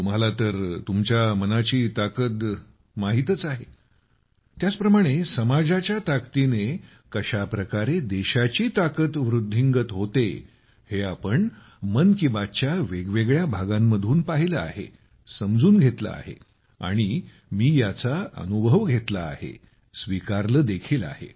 तुम्हाला तर तुमच्या मनाची ताकद माहीतच आहे त्याचप्रमाणे समाजाच्या ताकदीने कशाप्रकारे देशाची ताकद वृद्धिंगत होते हे आपण मन की बात च्या वेगवेगळ्या भागांमधून पाहिले आहे समजून घेतले आहे आणि मी याचा अनुभव घेतला आहे स्वीकारले देखील आहे